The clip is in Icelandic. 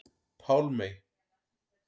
Pálmey